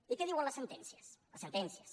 i què diuen les sentències les sentències